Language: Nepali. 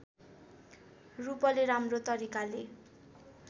रूपले राम्रो तरिकाले